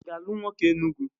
Ị ga-alụ nwoke Enugu?